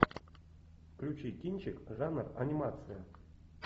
включи кинчик жанр анимация